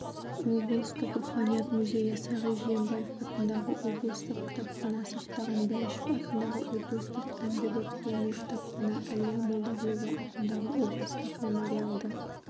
облыстық руханият музейі сағи жиенбаев атындағы облыстық кітапхана сақтаған бәйішев атындағы облыстық әмбебап-ғылыми кітапхана әлия молдағұлова атындағы облыстық мемориалды